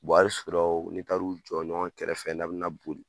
a bɛ sɔrɔ ni taar'u jɔ ɲɔgɔn kɛrɛfɛ n'a bɛ na boli.